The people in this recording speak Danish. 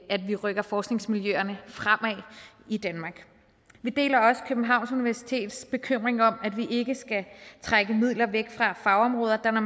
at vi rykker forskningsmiljøerne fremad i danmark vi deler også københavns universitets bekymring om at vi ikke skal trække midler væk fra fagområder der